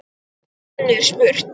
Og enn er spurt.